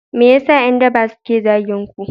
Me yasa yan daba suke zagin ku